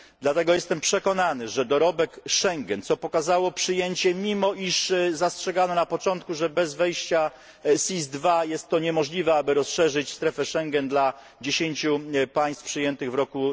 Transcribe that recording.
Dlatego jestem przekonany, że dorobek Schengen, co pokazało przyjęcie, mimo iż zastrzegano na początku, że bez wejścia SIS II jest to niemożliwe, aby rozszerzyć strefę Schengen dla dziesięciu państw przyjętych w roku